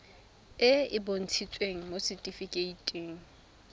e e bontshitsweng mo setifikeiting